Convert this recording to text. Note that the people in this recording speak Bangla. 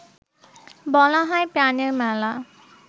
বলা হয় প্রাণের মেলা